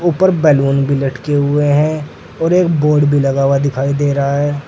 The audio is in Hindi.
ऊपर बैलून भी लटके हुए हैं और एक बोर्ड भी लगा हुआ दिखाई दे रहा है।